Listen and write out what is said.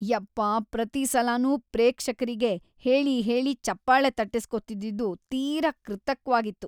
ಯಪ್ಪಾ ಪ್ರತೀ ಸಲನೂ ಪ್ರೇಕ್ಷಕ್ರಿಗೆ ಹೇಳಿ ಹೇಳಿ ಚಪ್ಪಾಳೆ ತಟ್ಟಿಸ್ಕೊತಿದ್ದಿದ್ದು ತೀರಾ ಕೃತಕ್ವಾಗಿತ್ತು.